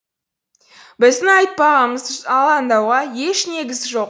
біздің айтпағымыз алаңдауға еш негіз жоқ